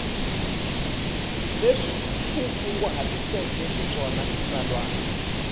leswi u kunguhatiseke xiswona xitsalwana